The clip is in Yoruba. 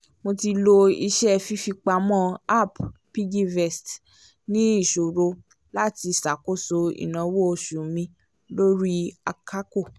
mo ti lo iṣẹ́ fífipamọ́ app piggyvest ní ìṣòro láti ṣàkóso ináwó oṣù mi lórí àkàkò